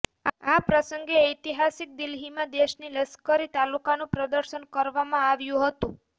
આ પ્રસંગે ઐતિહાસિક દિલ્હીમાં દેશની લશ્કરી તાકાતનું પ્રદર્શન કરવામાં આવ્યું હતું